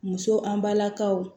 Muso an balakaw